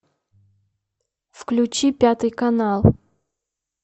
включи пятый канал